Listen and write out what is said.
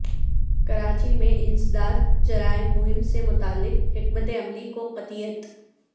کراچی میں انسداد جرائم مہم سے متعلق حکمت عملی کو قطعیت